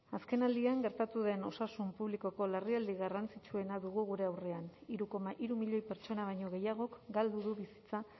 azkenaldian gertatu den osasun publikoko larrialdi garrantzitsuena dugu gure aurrean hiru koma hiru milioi pertsona baino gehiagok galdu du bizitza